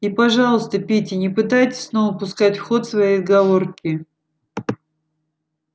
и пожалуйста питти не пытайтесь снова пускать в ход свои отговорки